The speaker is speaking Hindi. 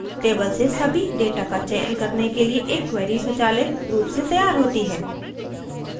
table से सभी data का चयन करने के लिए एक query स्वचालित रूप से तैयार होती है